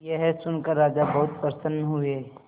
यह सुनकर राजा बहुत प्रसन्न हुए